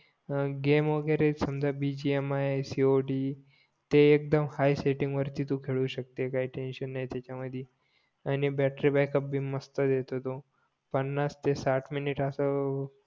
हां गेम वगैरे समझ B G M I C O D ते एक्दम हाय सेटिंग वरती तू खेळू शकते काही टेन्शन नाही त्याच्या मधी आणि बॅटरी बॅकअप भी मस्त देतो तो पानास ते साठ मिनिट असं